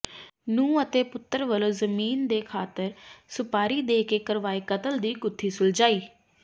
ਨੂੰਹ ਅਤੇ ਪੁੱਤਰ ਵੱਲੋਂ ਜ਼ਮੀਨ ਦੀ ਖਾਤਰ ਸੁਪਾਰੀ ਦੇ ਕੇ ਕਰਵਾਏ ਕਤਲ ਦੀ ਗੁੱਥੀ ਸੁਲਝਾਈ